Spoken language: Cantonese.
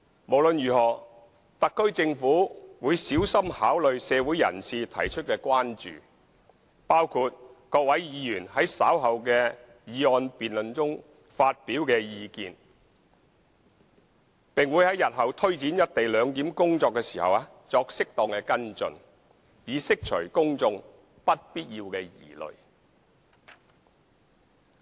無論如何，特區政府會小心考慮社會人士提出的關注，包括各位議員在稍後的議案辯論中發表的意見，並於日後推展"一地兩檢"工作時作適當的跟進，以釋除公眾不必要的疑慮。